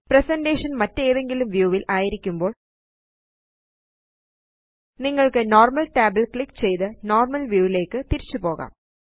presentation മറ്റേതെങ്കിലും വ്യൂവില് ആയിരിക്കുമ്പോള് നിങ്ങള്ക്ക് നോർമൽ tabല് ക്ലിക്ക് ചെയ്ത് നോർമൽ വ്യൂ യിലേയ്ക്ക് തിരിച്ചുപോകാം